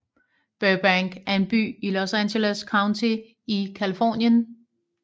Burbank er en by i Los Angeles County i Californien